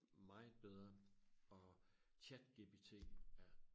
meget bedre og ChatGPT er